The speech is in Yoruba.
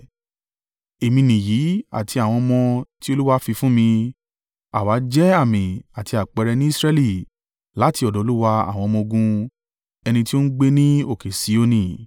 Èmi nìyí, àti àwọn ọmọ tí Olúwa fi fún mi. Àwa jẹ́ àmì àti àpẹẹrẹ ní Israẹli láti ọ̀dọ̀ Olúwa àwọn ọmọ-ogun, ẹni tí ó ń gbé ní òkè Sioni.